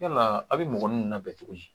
Yalaa a bɛ mɔgɔ nun labɛn cogo di